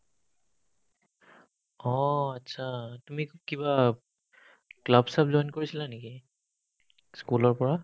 অ, achcha তুমি কিবা club স্লাব কৰিছিলা নেকি school ৰ পৰা